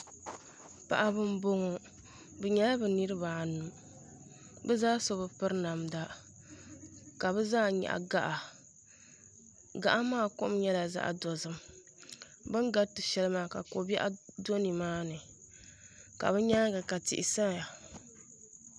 paɣ' ba n bɔŋɔ be nyɛla be nɛeribaayi bɛ zaa so be pɛri namda Ka be zaa nyɛgi gaɣ'kaɣ' maa kom nyɛla zaɣ' dozim bɛn karitɛ ahɛlimaa ka kobɛɣ' do ni maa ni la be nyɛŋa ka tihi saya